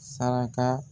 Saraka